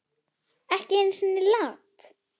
Ekki einu sinni Lat.